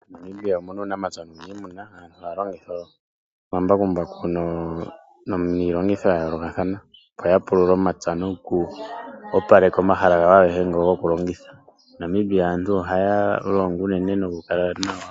MoNamibia omu na uunamapya nuniimuna aantu haya longitha omambakumbaku niilongitho ya yoolokathana opo ya pulule omapya noku opaleka omahala gawo agehe ngo go ku longitha.